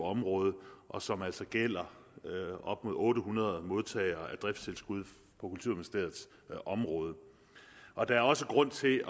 område og som altså gælder op mod otte hundrede modtagere af driftstilskud på kulturministeriets område og der er også grund til